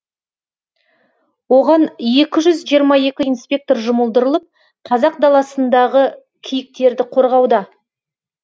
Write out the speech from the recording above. оған екі жүз жиырма екі инспектор жұмылдырылып қазақ даласындағы киіктерді қорғауда